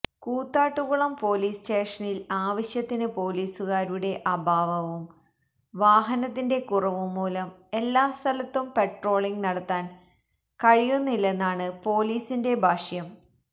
Koothattukulam police സ്റ്റേഷനില് ആവശ്യത്തിന് പോലീസുകാരുടെ അഭാവവും വഹനത്തിന്റെ കുറവും മൂലം എല്ലാസ്ഥലത്തും പട്രോളിംഗ് നടത്താന് കഴിയുന്നില്ലെന്നാണ് പോലീസിന്റെ ഭാക്ഷ്യം